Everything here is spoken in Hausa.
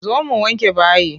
Zo mu wanke bayi.